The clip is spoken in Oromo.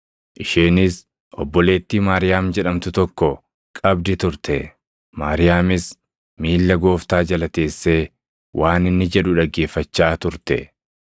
Isheenis obboleettii Maariyaam jedhamtu tokko qabdi turte; Maariyaamis miilla Gooftaa jala teessee waan inni jedhu dhaggeeffachaa turte.